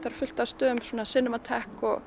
er fullt af stöðum